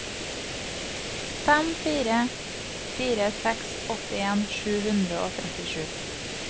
fem fire fire seks åttien sju hundre og trettisju